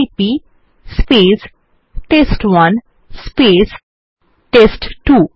CP টেস্ট1 টেস্ট2